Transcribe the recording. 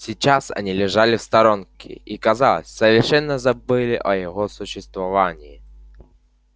сейчас они лежали в сторонке и казалось совершенно забыли о его существовании